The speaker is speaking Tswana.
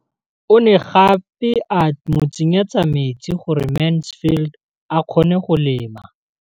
O ne gape a mo tsenyetsa metsi gore Mansfield a kgone go lema.